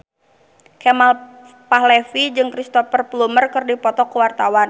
Kemal Palevi jeung Cristhoper Plumer keur dipoto ku wartawan